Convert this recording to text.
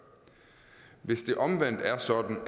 hvis det omvendt er sådan